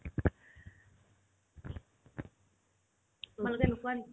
তোমালোকে নোখোৱা নেকি ?